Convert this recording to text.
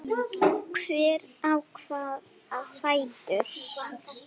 Hver á hvaða fætur?